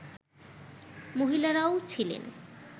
মহিলারাও ছিলেন